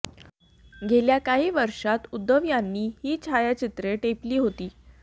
गेल्या कांही वर्षात उद्धव यांनी ही छायाचित्रे टिपली होती